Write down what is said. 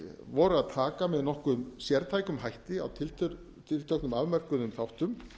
voru að taka með nokkrum sértækum hætti á tilteknum afmörkuðum þáttum